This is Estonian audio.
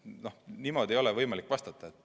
Nii et niimoodi ei ole võimalik vastata.